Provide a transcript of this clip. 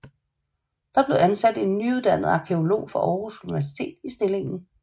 Der blev ansat en nyuddannet arkæolog fra Aarhus Universitet i stillingen